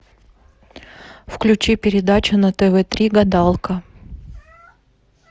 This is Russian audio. включи передачу на тв три гадалка